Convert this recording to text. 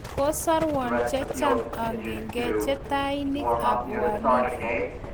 Kosorua checham akenget choteiniki ap uhalifu.